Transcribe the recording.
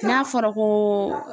N'a fɔra ko.